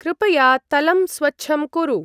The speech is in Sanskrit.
कृपया तलं स्वच्छं कुरु।